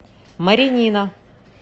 маринина